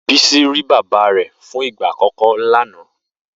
Bisi ri Bàbá fún igbá ákòkò lànã